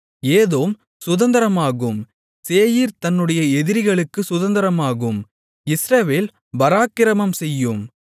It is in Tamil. ஏதோம் சுதந்தரமாகும் சேயீர் தன்னுடைய எதிரிகளுக்குச் சுதந்தரமாகும் இஸ்ரவேல் பராக்கிரமம்செய்யும்